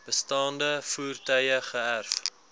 bestaande voertuie geërf